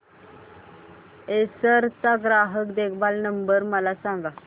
Acer चा ग्राहक देखभाल नंबर मला सांगा